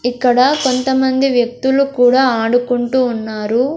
ఇక్కడ కొంత మంది వ్యక్తులు కుడా ఆడుకుంటు ఉన్నారు.